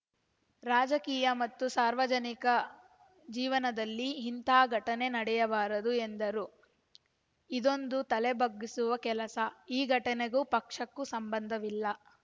ರಾಜಕೀಯ ಮತ್ತು ಸಾರ್ವಜನಿಕ ಜೀವನದಲ್ಲಿ ಇಂಥ ಘಟನೆ ನಡೆಯಬಾರದು ಎಂದರು ಇದೊಂದು ತಲೆ ಬಗ್ಗಿಸುವ ಕೆಲಸ ಈ ಘಟನೆಗೂ ಪಕ್ಷಕ್ಕೂ ಸಂಬಂಧವಿಲ್ಲ